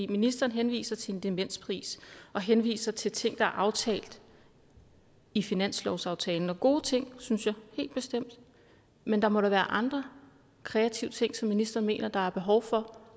ministeren henviser til en demenspris og henviser til ting der er aftalt i finanslovsaftalen gode ting synes jeg helt bestemt men der må da være andre kreative ting som ministeren mener der er behov for